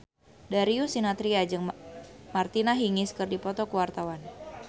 Darius Sinathrya jeung Martina Hingis keur dipoto ku wartawan